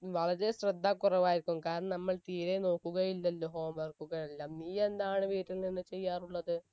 വളരെ ശ്രദ്ധ കുറവായിരിക്കും കാരണം നമ്മൾ തീരെ നോക്കുകയില്ലല്ലോ home work ഉകളെല്ലാം നീ എന്താണ് വീട്ടിൽ നിന്ന് ചെയ്യാറുള്ളത്